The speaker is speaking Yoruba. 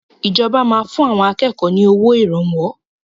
Ìjọba máa fún àwọn akẹ́kọ̀ọ́ ni owó Ìrànwọ́